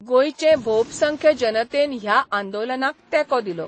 गोंयचे भोबसंख्य जनतेन ह्या आंदोलनाक तेंको दिलो.